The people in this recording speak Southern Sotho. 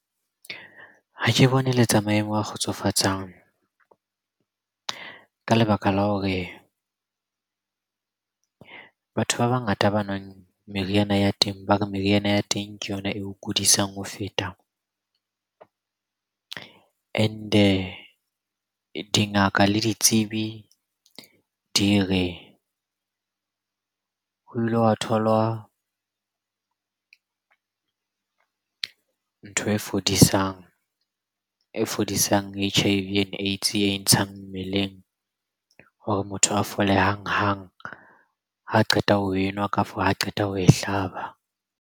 Ha ke bone e le tsa maemo a kgotsofatsang. Ka lebaka la hore batho ba bangata ba nwang meriana ya teng ba re meriana ya teng ke yona eo kudisang ho feta and-e dingaka le ditsebi di re ho ile wa tholwa ntho e fodisang H_I_V and AIDS. E e ntshang mmeleng hore motho a fole hang-hang ha qeta ho enwa, kafo ha qeta ho e hlaba.